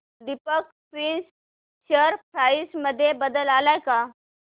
Deepak spinners share price मध्ये बदल आलाय का